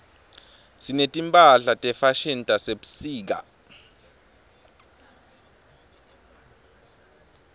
sineti mphahla tefashini tasebusika